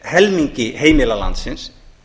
helmingi heimila landsins